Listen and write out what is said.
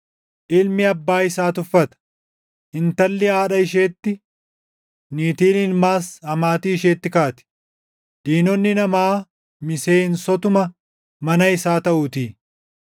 Ilmi abbaa isaa tuffata; intalli haadha isheetti, niitiin ilmaas amaatii isheetti kaati; diinonni namaa miseensotuma mana isaa taʼuutii.